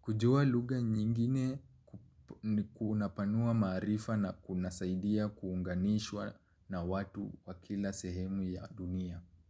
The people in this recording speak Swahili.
Kujua lugha nyingine ni unapanua maarifa na kunasaidia kuunganishwa na watu wa kila sehemu ya dunia.